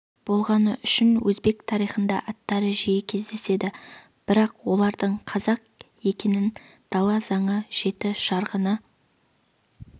болғаны үшін өзбек тарихында аттары жиі кездеседі бірақ олардың қазақ екенін дала заңы жеті жарғыны